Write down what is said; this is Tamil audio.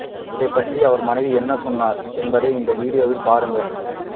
இதுபற்றி அவர் மனைவி என்ன சொன்னார் என்பதையும் இந்த வீடியோவில் பாருங்க